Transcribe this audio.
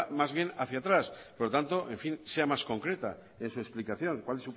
más bien hacía atrás por lo tanto en fin sea más concreta en su explicación cuál